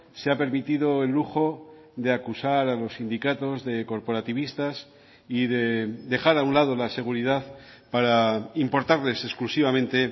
se ha permitido el lujo de acusar a los sindicatos de corporativistas y de dejar a un lado la seguridad para importarles exclusivamente